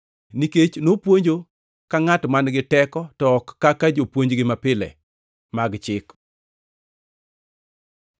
nikech nopuonjo ka ngʼat man-gi teko, to ok ka jopuonjgi mapile mag chik.